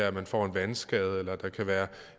at man får en vandskade eller at der kan være